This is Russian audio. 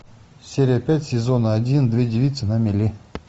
серия пять сезона один две девицы на мели